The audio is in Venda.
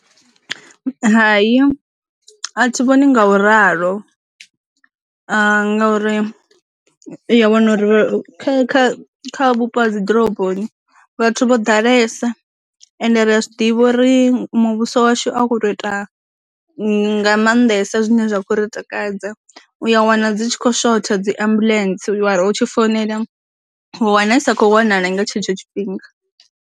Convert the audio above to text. Hai a thi vhoni nga u ralo, ngauri u ya wana uri kha kha vhupo ha dzi ḓoroboni vhathu vho ḓalesa ende ri zwi ḓivha uri muvhuso washu a khou tou ita nga maanḓesa zwine zwa kho ri takadza, u ya wana dzi tshi khou shotha dzi ambulance uri hu tshi founela u wana i sa kho wanala nga tshetsho tshi fhinga.